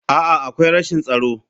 A'a, akwai rashin tsaro.